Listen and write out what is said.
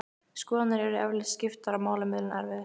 Skoðanir yrðu eflaust skiptar og málamiðlun erfið.